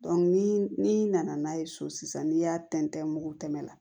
ni n'i nana n'a ye so sisan n'i y'a tɛntɛn mugu tɛmɛ na